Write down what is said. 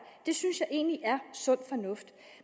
det synes jeg egentlig er sund fornuft